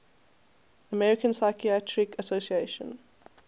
american psychiatric association